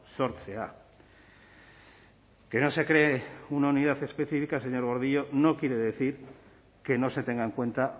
sortzea que no se cree una unidad específica señor gordillo no quiere decir que no se tenga en cuenta